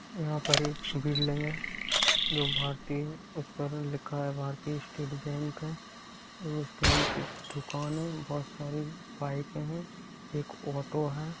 यहाँ पर एक बिल्डिंग है जो भारतीय उस पर लिखा है भारतीय स्टेट बैंक है और उसके नीचे दुकान है बहुत सारे बाइकें हैं एक ऑटो है।